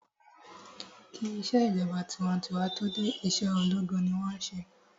Kí ìṣèjọba tinwatinwa tó dé, ìṣèjọba ológun ni wọ́n n ṣe